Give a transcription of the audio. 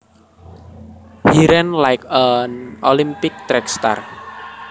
He ran like an Olympic track star